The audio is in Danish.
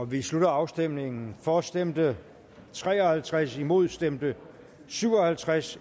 vi slutter afstemningen for stemte tre og halvtreds imod stemte syv og halvtreds